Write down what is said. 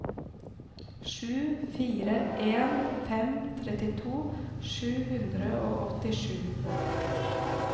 sju fire en fem trettito sju hundre og åttisju